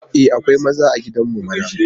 E, akwai maza a gidan mu mana.